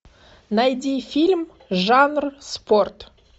найди фильм жанр спорт